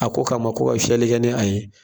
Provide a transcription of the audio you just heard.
A ko kama ko ka fiyɛli kɛ ni a ye